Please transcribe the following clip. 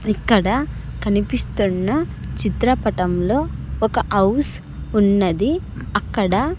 ఇక్కడ కనిపిస్తున్న చిత్రపటంలో ఒక అవ్స్ ఉన్నది అక్కడ--